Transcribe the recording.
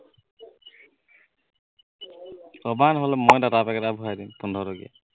কবা নহলে মই data pack এটা ভৰাই দিম পোন্ধৰ টকীয়া